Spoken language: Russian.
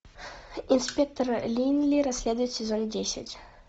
инспектор линли расследует сезон десять